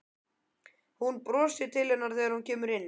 Hún brosir til hennar þegar hún kemur inn.